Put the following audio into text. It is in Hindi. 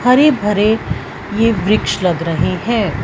हरे-भरे ये वृक्ष लग रहे हैं।